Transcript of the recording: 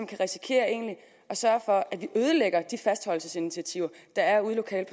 kan risikere at sørge for at vi ødelægger de fastholdelsesinitiativer der er lokalt